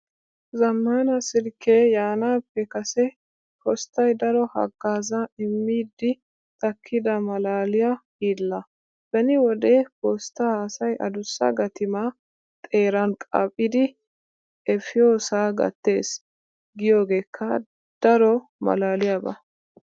Zammaana silkkee yaanaappe kase posttay daro haggaazaa immiiddi takkida maalaaliya hiilla. Beni wode posttaa asay adussa gatimaa xeeran qaaphidi efiyosaa gattees giyogeekka daro maalaaliyaba.